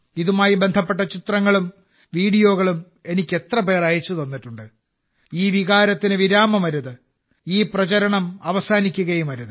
ഇതുമായി ബന്ധപ്പെട്ട ചിത്രങ്ങളും വീഡിയോകളും എനിക്ക് എത്രപേർ അയച്ചുതന്നിട്ടുണ്ട് ഈ വികാരത്തിന് വിരമമരുത് ഈ പ്രചാരണം അവസാനിക്കുകയും അരുത്